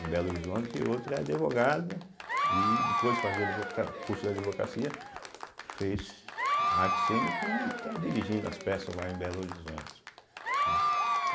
Em Belo Horizonte, e outra é advogada, e depois de fazer advoca curso de advocacia, fez artes cênicas e está dirigindo as peças lá em Belo Horizonte, né.